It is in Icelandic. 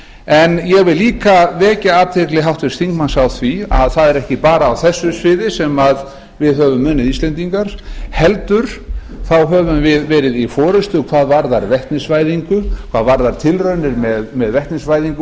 en ég vil líka vekja athygli háttvirts þingmanns á því að það er ekki bara á þessu sviði sem við höfum íslendingar heldur þá höfum við verið í forustu hvað varðar vetnisvæðingu hvað varðar tilraunir með vetnisvæðingu